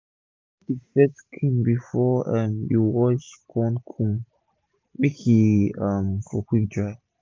comot d first skin before um you wash corn cob make e um for quick dry